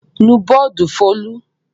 Nù bọ́ọ́dù Folú!